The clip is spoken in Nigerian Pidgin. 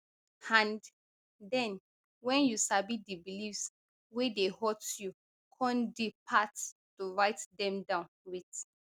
and den wen you sabi di beliefs wey dey hurt you come di part to write dem down wit